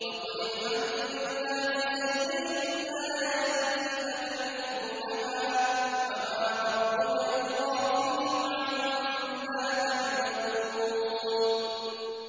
وَقُلِ الْحَمْدُ لِلَّهِ سَيُرِيكُمْ آيَاتِهِ فَتَعْرِفُونَهَا ۚ وَمَا رَبُّكَ بِغَافِلٍ عَمَّا تَعْمَلُونَ